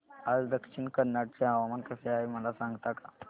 आज दक्षिण कन्नड चे हवामान कसे आहे मला सांगता का